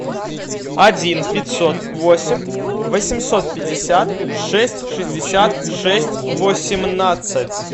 один пятьсот восемь восемьсот пятьдесят шесть шестьдесят шесть восемнадцать